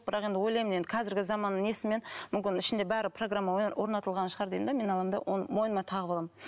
бірақ енді ойлаймын енді қазіргі заманның несімен мүмкін ішінде бәрі программа мен орнатылған шығар деймін де мен аламын да оны мойныма тағып аламын